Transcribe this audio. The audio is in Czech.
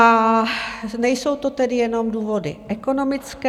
A nejsou to tedy jenom důvody ekonomické.